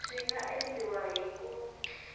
swi nga endliwa hi ku